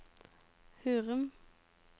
Hurum